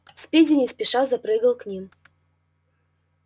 спиди не спеша запрыгал к ним